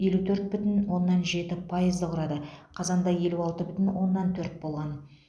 елу төрт бүтін оннан жеті пайызды құрады қазанда елу алты бүтін оннан төрт болған